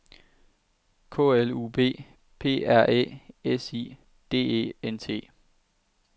K L U B P R Æ S I D E N T